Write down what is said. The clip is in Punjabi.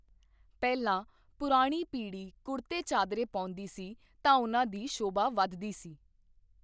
ਪਹਿਲਾਂ ਪੁਰਾਣੀ ਪੀੜ੍ਹੀ ਕੁੜਤੇ ਚਾਦਰੇ ਪਾਉਂਦੀ ਸੀ ਤਾਂ ਉਹਨਾਂ ਦੀ ਸ਼ੋਭਾ ਵੱਧਦੀ ਸੀ।